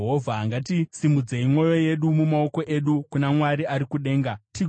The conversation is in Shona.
Ngatisimudzei mwoyo yedu namaoko edu kuna Mwari ari kudenga, tigoti: